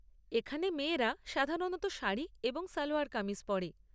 এখানে মেয়েরা সাধারণত শাড়ি এবং সালোয়ার কামিজ পরে।